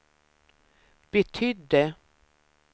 betydde